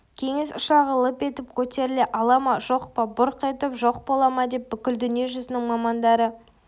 кеңес ұшағы лып етіп көтеріле ала ма жоқ бұрқ етіп жоқ бола ма деп бүкіл дүние жүзінің мамандары